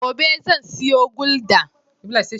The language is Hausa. Gobe zan siyo guldar.